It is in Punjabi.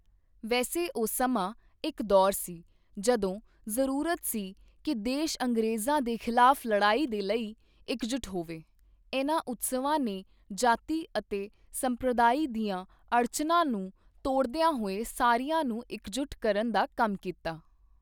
ਵੈਸੇ ਉਹ ਸਮਾਂ ਇੱਕ ਦੌਰ ਸੀ ਜਦੋਂ ਜ਼ਰੂਰਤ ਸੀ ਕਿ ਦੇਸ਼ ਅੰਗਰੇਜ਼ਾਂ ਦੇ ਖ਼ਿਲਾਫ਼ ਲੜਾਈ ਦੇ ਲਈ ਇੱਕਜੁਟ ਹੋਵੇ, ਇਨ੍ਹਾਂ ਉਤਸਵਾਂ ਨੇ ਜਾਤੀ ਅਤੇ ਸੰਪ੍ਰਦਾਇ ਦੀਆਂ ਅੜਚਨਾਂ ਨੂੰ ਤੋੜਦਿਆਂ ਹੋਇਆਂ ਸਾਰਿਆਂ ਨੂੰ ਇੱਕਜੁਟ ਕਰਨ ਦਾ ਕੰਮ ਕੀਤਾ।